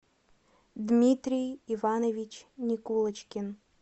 дмитрий иванович никулочкин